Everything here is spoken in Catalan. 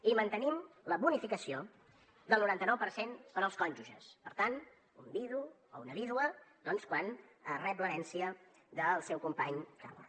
i mantenim la bonificació del noranta nou per cent per als cònjuges per tant un vidu o una vídua doncs quan rep l’herència del seu company que ha mort